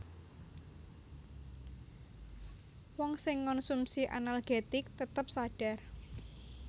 Wong sing ngonsumsi analgetik tetep sadhar